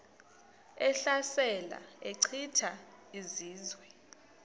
ehlasela echitha izizwe